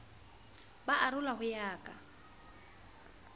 ba arola ho ya ka